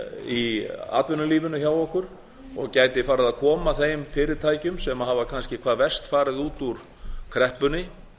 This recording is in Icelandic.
í atvinnulífinu hjá okkur og gæti farið að koma þeim fyrirtækjum sem hafa kannski hvað verst farið út úr kreppunni